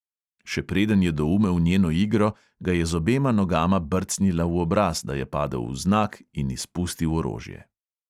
Še preden je doumel njeno igro, ga je z obema nogama brcnila v obraz, da je padel vznak in izpustil orožje.